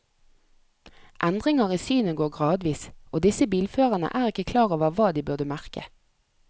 Endringer i synet går gradvis, og disse bilførerne er ikke klar over hva de burde merke.